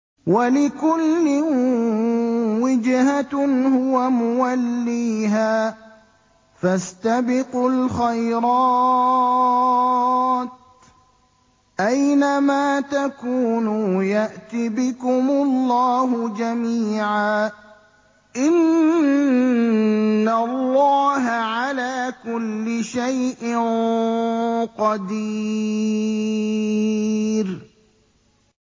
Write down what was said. وَلِكُلٍّ وِجْهَةٌ هُوَ مُوَلِّيهَا ۖ فَاسْتَبِقُوا الْخَيْرَاتِ ۚ أَيْنَ مَا تَكُونُوا يَأْتِ بِكُمُ اللَّهُ جَمِيعًا ۚ إِنَّ اللَّهَ عَلَىٰ كُلِّ شَيْءٍ قَدِيرٌ